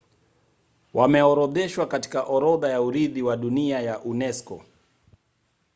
wameorodheshwa katika orodha ya urithi wa dunia ya unesco